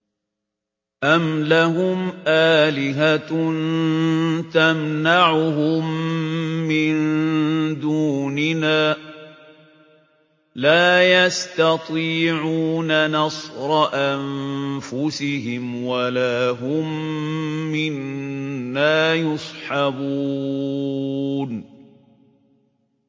أَمْ لَهُمْ آلِهَةٌ تَمْنَعُهُم مِّن دُونِنَا ۚ لَا يَسْتَطِيعُونَ نَصْرَ أَنفُسِهِمْ وَلَا هُم مِّنَّا يُصْحَبُونَ